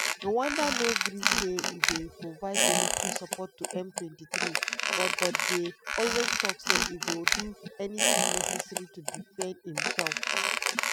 rwanda no gree say e dey provide military support to m23 but but dey always tok say e go do anything necessary to defend imsef.